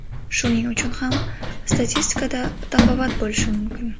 Shuning uchun ham statistikada tafovut bo‘lishi mumkin.